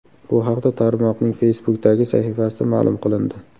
Bu haqda tarmoqning Facebook’dagi sahifasida ma’lum qilindi .